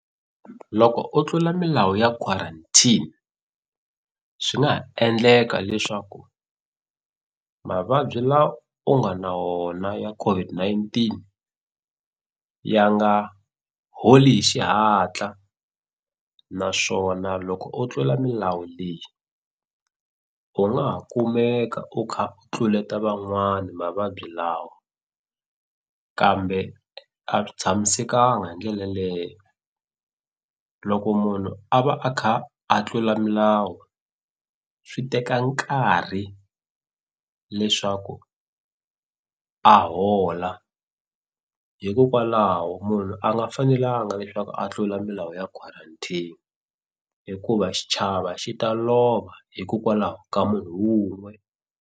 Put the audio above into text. Loko u tlula milawu ya quarantine swi nga ha endleka leswaku mavabyi la u nga na wona ya COVID-19 ya nga holi hi xihatla naswona loko u tlula milawu leyi u nga ha kumeka u kha u tluleta van'wani mavabyi lawa kambe a swi tshamisekanga hi ndlela leye loko munhu a va a kha a tlula milawu swi teka nkarhi leswaku a hola hikokwalaho munhu a nga fanelanga leswaku a tlula milawu ya quarantine hikuva xichava xi ta lova hikokwalaho ka munhu wun'we.